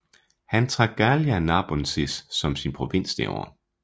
Han trak Gallia Narbonensis som sin provins det år